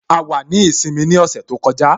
A wà ní ìsinmi ní ọ̀sẹ̀ tó kọjá